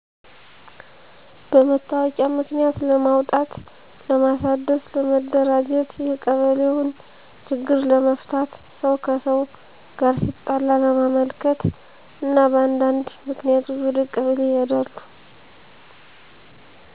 በመታወቂያ ምክንያት ለማውጣት ለማሣደስ፣ ለመደራጀት፣ የቀበሌውን ችግር ለመፍታት፣ ሰው ከሰው ጋር ሲጣላ ለማመልከት እና በአንዳነድ ምክንያቶች ወደ ቀበሌ ይሔዳሉ።